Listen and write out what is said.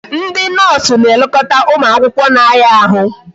Ndị noosu na-elekọta ụmụ akwụkwọ na-aya ahụ